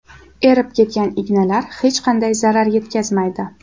Erib ketgan ignalar hech qanday zarar yetkazmaydi.